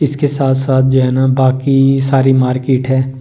इसके साथ साथ जो है ना बाकी सारी मार्केट है।